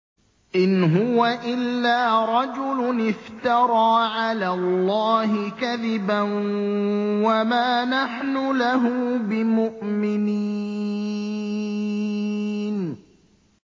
إِنْ هُوَ إِلَّا رَجُلٌ افْتَرَىٰ عَلَى اللَّهِ كَذِبًا وَمَا نَحْنُ لَهُ بِمُؤْمِنِينَ